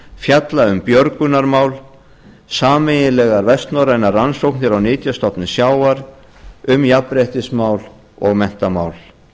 fjalla um björgunarmál sameiginlegar vestnorrænar rannsóknir á nytjastofnum sjávar um jafnréttismál og menntamál